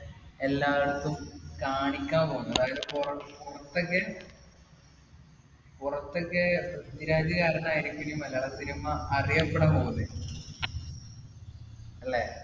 എല്ലാർക്കും കാണിക്കാൻ പോകുന്നത്. അതായത് പുറത്തുപുറത്തൊക്കെ പുറത്തൊക്കെ പൃഥ്വിരാജ് കാരണമായിരിക്കും ഇനി മലയാള cinema അറിയപ്പെടാൻ പോകുന്നത്. അല്ലെ?